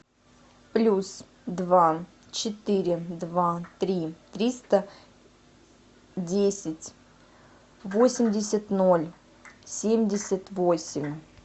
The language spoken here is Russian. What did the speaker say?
плюс два четыре два три триста десять восемьдесят ноль семьдесят восемь